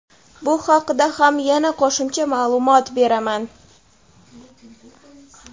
Bu haqida ham yana qo‘shimcha ma’lumot beraman.